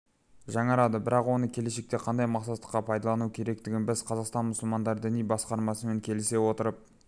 жаңарады бірақ оны келешекте қандай мақсатқа пайдалану керектігін біз қазақстан мұсылмандары діни басқармасымен келісе отырып